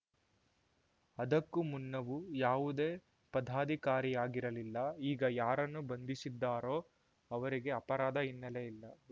ಅದಕ್ಕೂ ಮುನ್ನವೂ ಯಾವುದೇ ಪದಾಧಿಕಾರಿಯಾಗಿರಲಿಲ್ಲ ಈಗ ಯಾರನ್ನು ಬಂಧಿಸಿದ್ದಾರೋ ಅವರಿಗೆ ಅಪರಾಧ ಹಿನ್ನೆಲೆ ಇಲ್ಲ